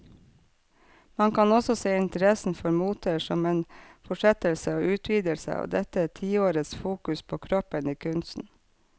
Man kan også se interessen for moter som en fortsettelse og utvidelse av dette tiårets fokus på kroppen i kunsten.